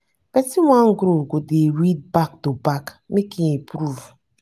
pesin wey wan grow go dey read back to back make e improve.